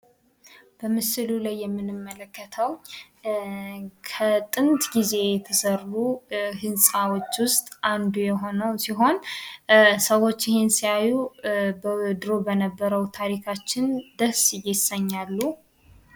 በምስሉ ላይ የምንመለከተው ከጥንት ጊዜ የተሰሩ ህንጻዎች ውስጥ አንዱ የሆነው ሲሆን ሰዎች ይህን ሲያዩ ድሮ በነበረው ታሪካችን ደስ ይሰኛሉ።